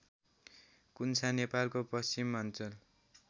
कुन्छा नेपालको पश्चिमाञ्चल